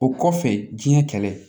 O kɔfɛ diɲɛ kɛlɛ